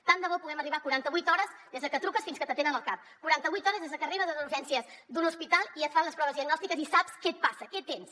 tant de bo puguem arribar a quaranta vuit hores des de que truques fins que t’atenen al cap quaranta vuit hores des de que arribes a les urgències d’un hospital i et fan les proves diagnòstiques i saps què et passa què tens